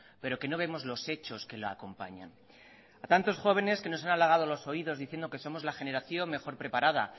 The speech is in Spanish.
pero que no vemos los hechos que la acompañan a tantos jóvenes que nos han alagado los oídos diciendo que somos la generación mejor preparada